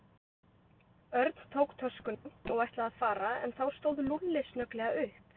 Örn tók töskuna og ætlaði að fara en þá stóð Lúlli snögglega upp.